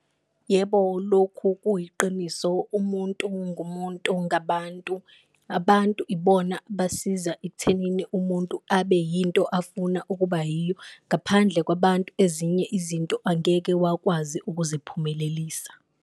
Yebo, lokhu kuyiqiniso umuntu ngumuntu ngabantu. Abantu ibona basiza ekuthenini umuntu abe yinto afuna ukuba yiyo, ngaphandle kwabantu ezinye izinto angeke wakwazi ukuziphumelelisa.